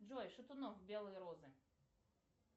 джой шатунов белые розы